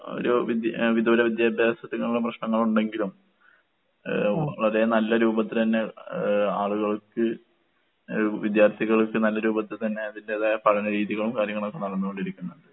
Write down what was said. ഒരു വിദ്യ എഹ് വിദൂര വിദ്യാഭ്യാസത്തിനൊള്ള പ്രശ്നങ്ങളൊണ്ടെങ്കിലും ഏഹ് അതേ നല്ല രൂപത്തിലെന്നെ ഏഹ് ആളുകൾക്ക് ഏഹ് വിദ്യാർത്ഥികൾക്ക് നല്ല രൂപത്തിൽ തന്നെ അതിന്റേതായ പഠനരീതികളും കാര്യങ്ങളൊക്കെ നടന്നോണ്ടിരിക്കുന്നൊണ്ട്.